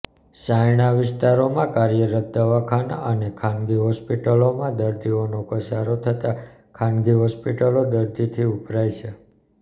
સાયણ વિસ્તારમાં કાર્યરત દવાખાના અને ખાનગી હોસ્પિટલોમાં દર્દીઓનો ધસારો થતા ખાનગી હોસ્પિટલો દર્દીથી ઉભરાઈ છે